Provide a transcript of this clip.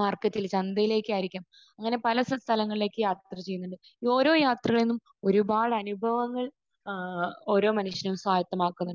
മാർക്കറ്റിൽ...ചന്തയിലേക്കായിരിക്കാം അങ്ങനെ പല സ്ഥലങ്ങളിലേക്ക് യാത്ര ചെയ്യുന്നുണ്ട്. ഓരോ യാത്രകളും ഒരുപാട് അനുഭവങ്ങൾ ഏഹ് ഓരോ മനുഷ്യനും സ്വായത്തമാക്കുന്നുണ്ട്.